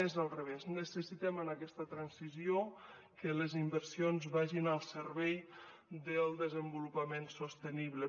és al revés necessitem en aquesta transició que les inversions vagin al servei del desenvolupament sostenible